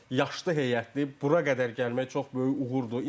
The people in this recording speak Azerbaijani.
Yaşlı heyətlə bura qədər gəlmək çox böyük uğurdur.